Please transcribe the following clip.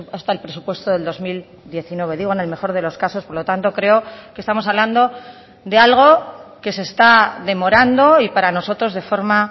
hasta el presupuesto del dos mil diecinueve digo en el mejor de los casos por lo tanto creo que estamos hablando de algo que se está demorando y para nosotros de forma